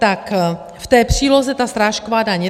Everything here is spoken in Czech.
Tak v té příloze ta srážková daň.